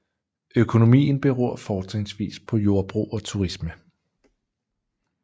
Økonomien beror fortrinsvis på jordbrug og turisme